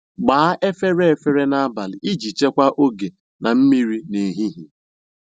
Gbaa efere efere n'abalị iji chekwaa oge na mmiri n'ehihie.